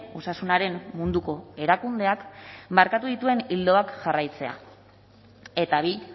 osasunaren munduko erakundeak markatu dituen ildoak jarraitzea eta bi